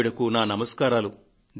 ఆవిడకు నా నమస్కారాలు